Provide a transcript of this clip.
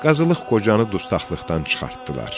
Qazılıq qocanı dustaqdan çıxartdılar.